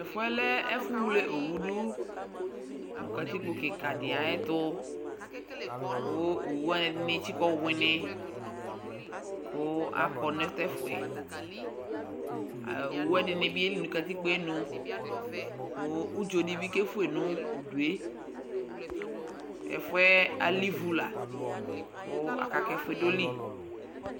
Tʋ ɛfʋ yɛ lɛ ɛfʋwle owu dʋ nʋ katikpo kɩka dɩ ayɛtʋ kʋ owu wanɩ, ɛdɩnɩ etikǝ ɔwɩnɩ kʋ akɔ nʋ tʋ ɛfʋ yɛ A owu wanɩ ɛdɩnɩ bɩ yeli nʋ katikpo yɛ nu kʋ udzo dɩ bɩ kefue nʋ udu yɛ Ɛfʋ yɛ alɛ ivu la kʋ aka kʋ ɛfʋ yɛ edoli